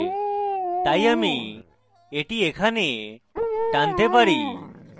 তাই আমি এটি এখানে টানতে পারি